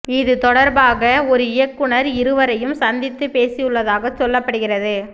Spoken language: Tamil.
இது தொடர்பாக ஒரு இயக்குனர் இருவரையும் சந்தித்து பேசியுள்ளதாக சொல்லப்படுகிறது